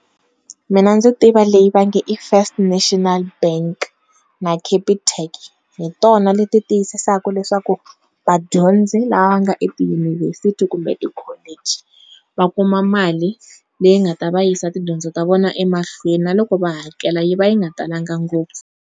Mina ndzi tiva leyi va nge i First National Bank na Capitec hitona leti tiyisisaka leswaku vadyondzi lava nga etiyunivhesiti kumbe ti-college va kuma mali leyi nga ta va yisa tidyondzo ta vona emahlweni na loko va hakela yi va yi nga talangi ngopfu.